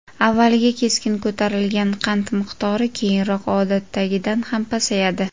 Avvaliga keskin ko‘tarilgan qand miqdori keyinroq odatdagidan ham pasayadi.